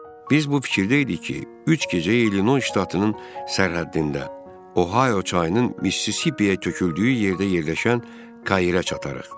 Biz bu fikirdə idik ki, üç gecə İllinoys ştatının sərhəddində, Ohayo çayının Missisipiyə töküldüyü yerdə yerləşən Kayirə çatırıq.